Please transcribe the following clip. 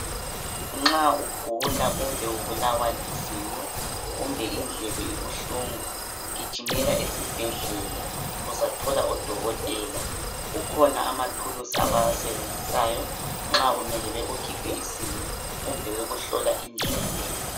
Nxa ugula kumbe ubulawa lizinyo kumbe indlebe ibuhlungu gijimela esibhedlela uzathola odokotela kukhona amathulusi abawasebenzisayo nxa kumele bekukhiphe izinyo kumbe bekuhlola indlebe.